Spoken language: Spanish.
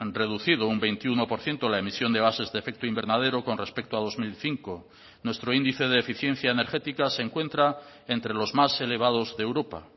reducido un veintiuno por ciento la emisión de gases de efecto invernadero con respecto a dos mil cinco nuestro índice de eficiencia energética se encuentra entre los más elevados de europa